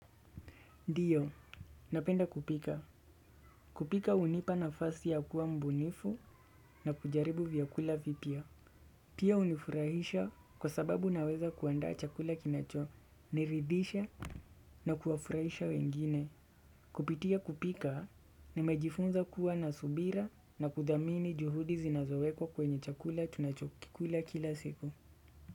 Ndio, napenda kupika. Kupika hunipa nafasi ya kuwa mbunifu na kujaribu vyakula vipya. Pia hunifurahisha kwa sababu naweza kuandaa chakula kinacho, niridhisha na kuwafurahisha wengine. Kupitia kupika, nimejifunza kuwa na subira na kudhamini juhudi zinazowekwa kwenye chakula tunachokikula kila siku.